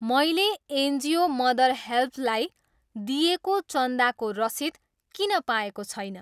मैले NGO mother हेल्प्जलाई दिएको चन्दाको रसिद किन पाएको छैन ?